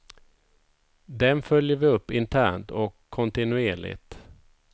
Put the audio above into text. Dem följer vi upp internt och kontinuerligt.